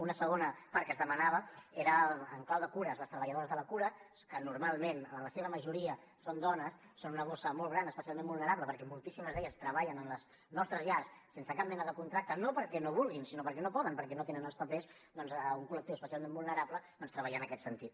una segona part que es demanava era en clau de cures les treballadores de la cura que normalment en la seva majoria són dones són una bossa molt gran especialment vulnerable perquè moltíssimes d’elles treballen en les nostres llars sense cap mena de contracte no perquè no vulguin sinó perquè no poden perquè no tenen els papers un col·lectiu especialment vulnerable doncs treballar en aquest sentit